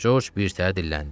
Corc birtəhər dilləndi.